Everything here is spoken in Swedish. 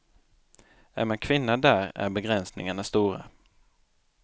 Är man kvinna där är begränsningarna stora.